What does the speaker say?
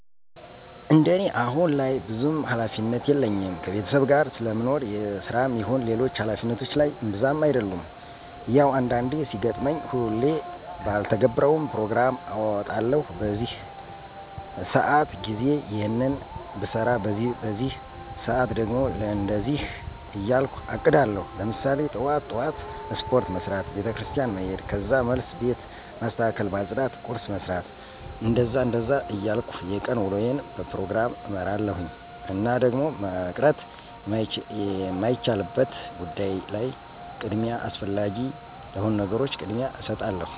እንደኔ አሁን ላይ ብዙም ሀላፊነት የለኝም ከቤተሰብ ጋር ስለምኖር የስራም ይሁን ሌሎች ሀላፊነቶች ላይ እብዛም አደሉም። ያው አንዳንዴ ሲገጥመኝ ሁሌ ባልተገብረውም ፕሮግራም አወጣለሁኝ በዚህ በዚህ ሰአት ጊዜ ይሔንን ብሰራ በዚህ በዚህ ሰአት ደግሞ ለእንደዚህ እያልኩ አቅዳለሁኝ። ለምሳሌ ጥዋት ጥዋት ስፖርት መስራት፣ ቤተክርስቲያን መሔድ ከዛ መልስ ቤት ማስተካከል ማፅዳት ቁርስ መስራት... እንደዛ እንደዛ እያልኩ የቀን ውሎየን በፕሮግራም እመራለሁኝ። እና ደግሞ መቅረት የማይቻልበት ጉዳይ ላይ ቅድሚያ አስፈላጊ ለሆኑ ነገሮች ቅድሚያ እሰጣለሁኝ።